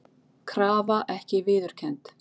Krafa ekki viðurkennd